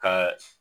Ka